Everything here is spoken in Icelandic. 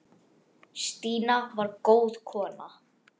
Stína var góð kona.